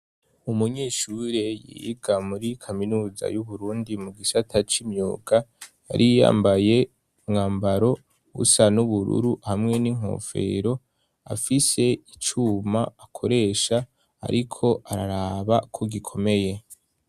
Umunyeshuei yiga muri kaminuza y'uburundi mu gisata c'imyuga yari yambaye mwambaro usa n'ubururu hamwe n'inkofero afise icuma akoresha ariko araraba ko gikomeye.